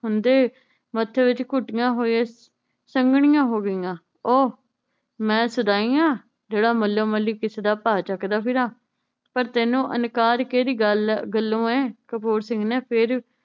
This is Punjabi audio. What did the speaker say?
ਹੁੰਦੇ ਮੱਥੇ ਵਿਚ ਘੁੱਟੀਆਂ ਹੋਏ ਸੰਘਣੀਆਂ ਹੋ ਗਈਆਂ ਉਹ ਮੈ ਸ਼ਦਾਈ ਆ ਜਿਹੜਾ ਮੱਲੋ ਮੱਲੀ ਕਿਸੇ ਦਾ ਭਾਰ ਚੱਕਦਾ ਫਿਰਾਂ ਪਰ ਤੈਨੂੰ ਇਨਕਾਰ ਕਿਹੜੀ ਗੱਲੋਂ ਏ ਕਪੂਰ ਸਿੰਘ ਨੇ ਫੇਰ